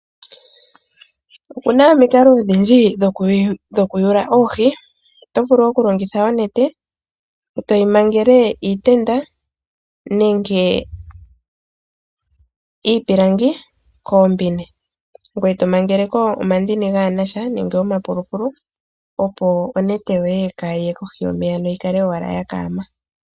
Opuna omikalo odhindji dhokuyula oohi. Otovulu oku longitha onete etoyi mangele iitenda nenge iipilangi koombine ngoye to mangeleko omandini kage nasha noenge omapolopolo opo onete yoye kayi ye kohi yomeya yi kale owala ya kaama.